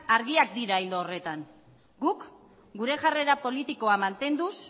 argiak dira ildo horretan guk gure jarrera politikoa mantenduz